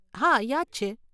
હા, યાદ છે.